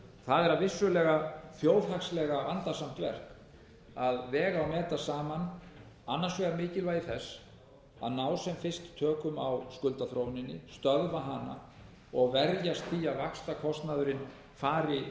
það er vissulega þjóðhagslega vandasamt verk að vega og meta saman annars vegar mikilvægi þess að ná sem fyrst tökum á skuldaþróuninni stöðva hana og verjast því að vaxtakostnaðurinn fari